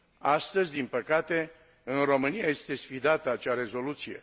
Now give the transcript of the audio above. Astăzi, din păcate, în România este sfidată acea rezoluție.